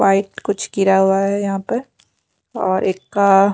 white कुछ गिरा हुआ है यहां पर और एक का--